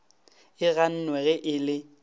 e gannwe ge e le